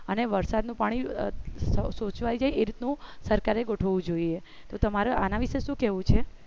અને વરસાદનું પાણી સોચવાય જાય એવું સરકારે ગોઠવવું જોઈએ તો તમારો આના વિશે શું કહેવું છે